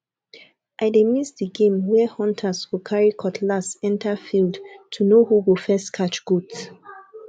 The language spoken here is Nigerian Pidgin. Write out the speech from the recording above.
i dey miss the game where hunters go carry cutlass enter field to know who go first catch goat